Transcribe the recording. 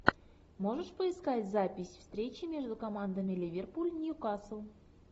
можешь поискать запись встречи между командами ливерпуль ньюкасл